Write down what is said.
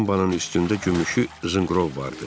Tumbanın üstündə gümüşü zınqrov vardı.